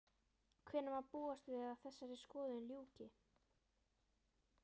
Hvenær má búast við að þessari skoðun ljúki?